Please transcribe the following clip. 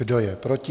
Kdo je proti?